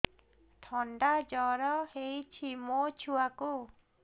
ଥଣ୍ଡା ଜର ହେଇଚି ମୋ ଛୁଆକୁ